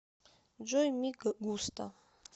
джой ми густа